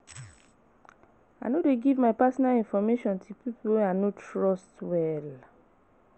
I no dey give my personal information to people wey I no trust well.